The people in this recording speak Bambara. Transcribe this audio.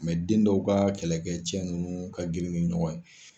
den dɔw ka kɛlɛkɛ cɛ ninnu ka girin ni ɲɔgɔn ye.